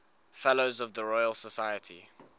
fellows of the royal society